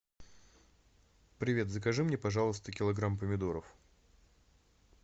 привет закажи мне пожалуйста килограмм помидоров